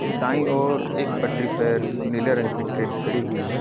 दाई और एक पटरी पर नीले रंग की ट्रेन खड़ी हुई है।